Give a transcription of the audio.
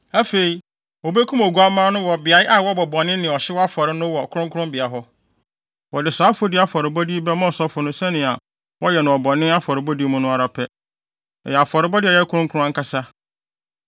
Afei, wobekum oguamma no wɔ beae a wɔbɔ bɔne ne ɔhyew afɔre no wɔ kronkronbea hɔ. Wɔde saa afɔdi afɔrebɔde yi bɛma ɔsɔfo no sɛnea wɔyɛ no bɔne afɔrebɔ mu no ara pɛ. Ɛyɛ afɔrebɔ a ɛyɛ kronkron ankasa.